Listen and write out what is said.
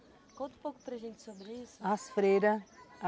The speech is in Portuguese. Conta um pouco para gente sobre isso. As freiras